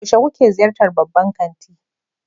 Yaushe kuke ziyartar babban kanti?